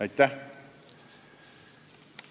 Aitäh!